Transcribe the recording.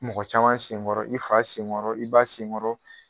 Mɔgɔ caman sen ŋɔrɔ, i fa sen ŋɔrɔ, i ba sen ŋɔrɔ